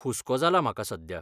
हुस्को जाला म्हाका सध्या.